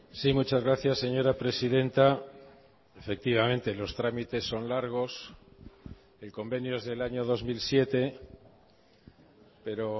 sí muchas gracias señora presidenta efectivamente los trámites son largos el convenio es del año dos mil siete pero